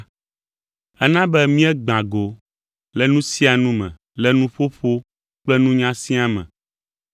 Ena be míegbã go le nu sia nu me le nuƒoƒo kple nunya siaa me,